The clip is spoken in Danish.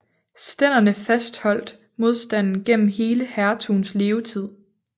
Stænderne fastholdt modstanden gennem hele hertugens levetid